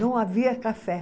Não havia café.